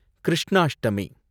Krishnashtami